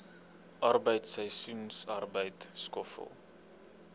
arbeid seisoensarbeid skoffel